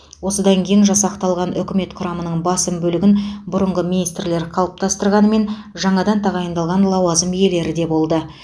осыдан кейін жасақталған үкімет құрамының басым бөлігін бұрынғы министрлер қалыптастырғанымен жаңадан тағайындалған лауазым иелері де болды